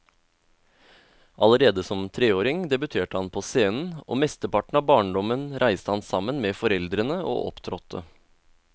Allerede som treåring debuterte han på scenen, og mesteparten av barndommen reiste han sammen med foreldrene og opptrådte.